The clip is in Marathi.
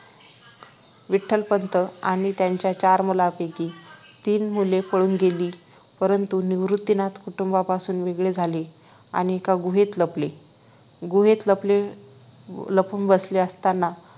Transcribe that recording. विठ्ठलपंत आणि त्यांच्या चार मुलांपैकी तीन मुले पळून गेली परंतु निवृत्तीनाथ कुटुंबापासून वेगळे झाले आणि एका गुहेत लपले गुहेत लपले लपून बसले असताना